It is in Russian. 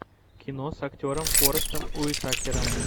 кино с актером форестом уитакером